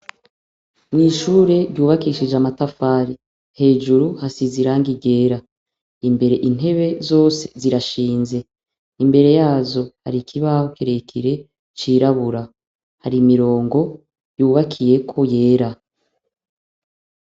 Mw'ishure ryubakishijwe amatafari, hejuru hasize irangi ryera, imbere intebe zose zirashinze, imbere yazo har'ikibaho kirekire cirabura, har'imirongo yubakiyeko yera.